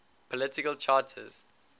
political charters